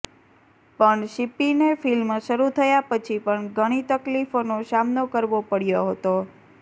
પણ સિપ્પીને ફિલ્મ શરૂ થયા પછી પણ ઘણી તકલીફોનો સામનો કરવો પડયો હતો